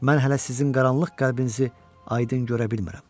Mən hələ sizin qaranlıq qəlbinizi aydın görə bilmirəm.